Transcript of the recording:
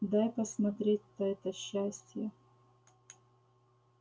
дай посмотреть-то это счастье